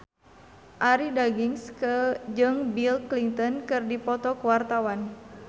Arie Daginks jeung Bill Clinton keur dipoto ku wartawan